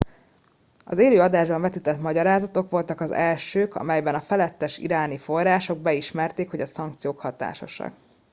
az élő adásban vetített magyarázatok voltak az elsők amelyben a felettes iráni források beismerték hogy a szankciók hatásosak